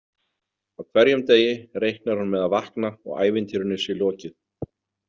Á hverjum degi reiknar hún með að vakna og ævintýrinu sé lokið.